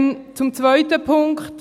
Zum zweiten Punkt: